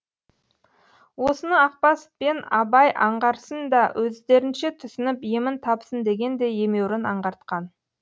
осыны ақбас пен абай аңғарсын да өздерінше түсініп емін тапсын дегендей емеурін аңғартқан